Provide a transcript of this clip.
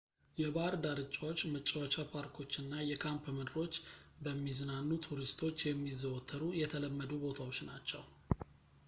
የባህር ዳርቻዎች መጫወቻ ፓርኮች እና የካምፕ ምድሮች በሚዝናኑ ቱሪስቶች የሚዘወተሩ የተለመዱ ቦታዎች ናቸው